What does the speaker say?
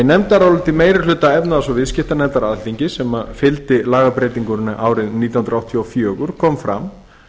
í nefndaráliti meiri hluta efnahags og viðskiptanefndar alþingis sem fylgdi lagabreytingunni árið nítján hundruð áttatíu og fjögur kom fram